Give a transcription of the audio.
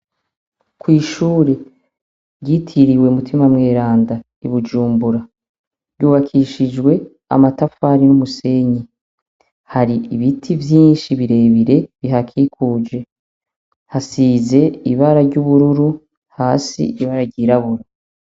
Kw'ishure ryitiriwe umutima mweranda ibujumbura, ryubakishijwe amatafari n'umusenyi hari ibiti vyinshi birebire bihakikuje, hasize ibara ry'ubururu hasi ibara ryirabura.